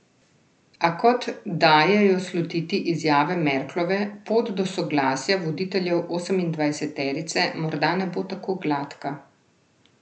A kot dajejo slutiti izjave Merklove, pot do soglasja voditeljev osemindvajseterice morda ne bo tako gladka.